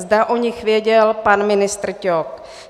Zda o nich věděl pan ministr Ťok.